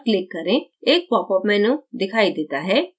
एक pop up menu दिखाई देता है